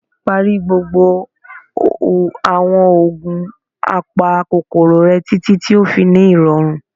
Pari gbogbo awọn oogun apakokoro rẹ, titi ti o fi ni irọrun.